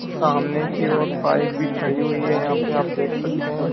सामने की ओर बाइक भी खड़ी हुई है यहां पे आप देख सकते हैं।